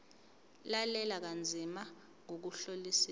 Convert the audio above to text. lalela kanzima ngokuhlolisisa